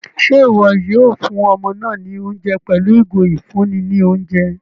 Ṣe iwọ yóò fún ọmọ náà ní oúnjẹ pẹlu igo ifunni ní oúnjẹ?